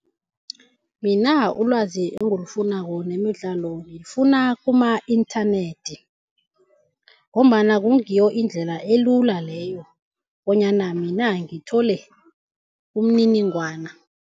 Mina ulwazi engilifunako ngemidlalo ngilifuna kuma-inthanethi ngombana kungiyo indlela elula leyo bonyana mina ngithole umniningwana.